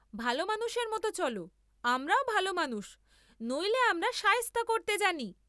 ভাল মানুষের মত চল, আমরাও ভাল মানুষ, নইলে আমরা সায়েস্তা করতে জানি।